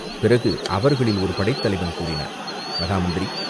பிறகு அவர்களில் ஒரு படைத்தலைவன் கூறினான், மகாமந்திரி